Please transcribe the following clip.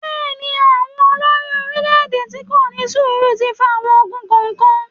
Bẹ́ẹ̀ ni, àwọn olorí-oeílè-èdè tih kò ní sùúrù ti fa àwọn ogun kọ̀ọ̀kan.